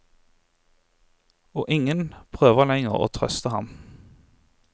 Og ingen prøver lenger å trøste ham.